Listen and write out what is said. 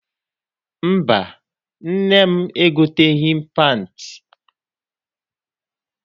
Mba, nne m egoteghị penti.